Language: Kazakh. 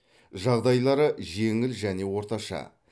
жағдайлары жеңіл және орташа